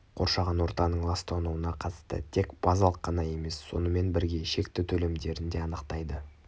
қоршаған ортаның ластануына қатысты тек базалық қана емес сонымен бірге шекті төлемдерін де анықтайды